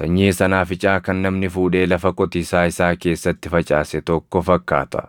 sanyii sanaaficaa kan namni fuudhee lafa qotiisaa isaa keessatti facaase tokko fakkaata.